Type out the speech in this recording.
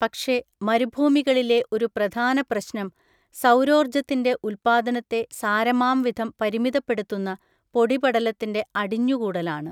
പക്ഷെ മരുഭൂമികളിലെ ഒരു പ്രധാനപ്രശ്നം സൗരോർജ്ജത്തിൻ്റെ ഉത്പാദനത്തെ സാരമാംവിധം പരിമിതപ്പെടുത്തുന്ന പൊടിപടലത്തിൻ്റെ അടിഞ്ഞുകൂടലാണ്.